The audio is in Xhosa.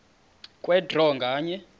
kwe draw nganye